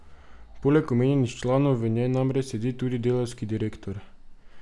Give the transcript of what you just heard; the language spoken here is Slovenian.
Poleg omenjenih članov v njej namreč sedi tudi delavski direktor.